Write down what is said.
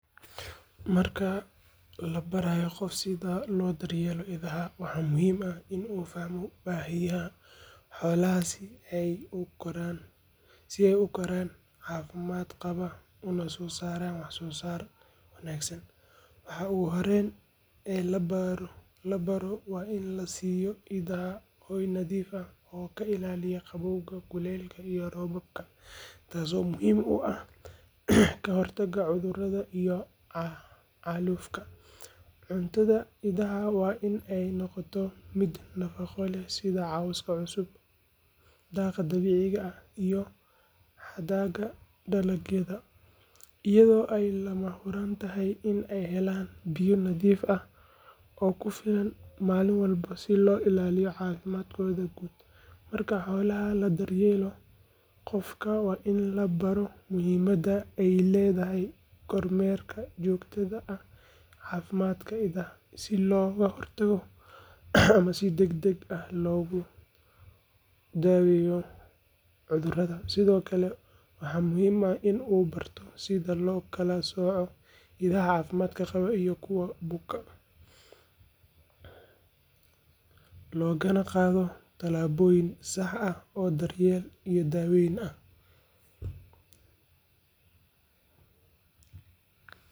Marka la barayo qof sida loo daryeelo idaha, waa muhiim in uu fahmo baahiyaha xoolahaasi si ay u koraan caafimaad qaba una soo saaraan wax-soo-saar wanaagsan. Waxa ugu horreeya ee la baro waa in la siiyo idaha hoy nadiif ah oo ka ilaaliya qabowga, kuleylka iyo roobabka, taasoo muhiim u ah ka hortagga cudurrada iyo xaalufka. Cuntada idaha waa in ay noqotaa mid nafaqo leh sida cawska cusub, daaqa dabiiciga ah iyo hadhaaga dalagyada, iyadoo ay lama huraan tahay in ay helaan biyo nadiif ah oo ku filan maalin walba si loo ilaaliyo caafimaadkooda guud. Marka xoolaha la daryeelayo, qofka waa in la baro muhiimadda ay leedahay kormeerka joogtada ah ee caafimaadka idaha, si looga hortago ama si degdeg ah loogu daweeyo cudurrada. Sidoo kale, waxaa muhiim ah in uu barto sida loo kala sooco idaha caafimaadka qaba iyo kuwa buka, loogana qaado talaabooyin sax ah oo daryeel iyo daaweyn ah.